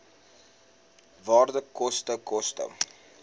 waarde koste koste